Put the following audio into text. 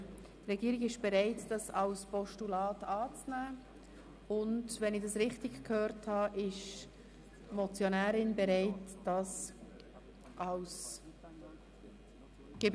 Die Regierung ist bereit, diese Motion als Postulat anzunehmen, und wenn ich es richtig gehört habe, ist die Motionärin bereit zu wandeln.